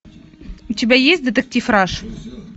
у тебя есть детектив раш